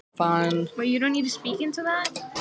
Ég var líka að sýna fangavörðunum að gæsluvarðhaldsfanginn